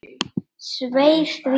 Svei því.